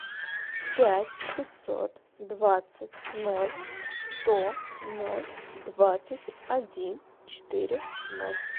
пять пятьсот двадцать ноль сто ноль двадцать один четыре ноль